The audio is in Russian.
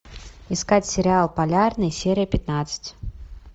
искать сериал полярный серия пятнадцать